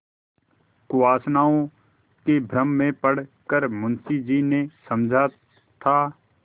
कुवासनाओं के भ्रम में पड़ कर मुंशी जी ने समझा था